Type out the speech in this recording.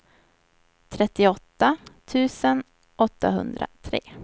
trettioåtta tusen åttahundratre